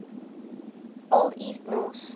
old east norse